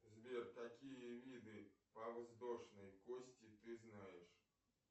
сбер какие виды подвздошной кости ты знаешь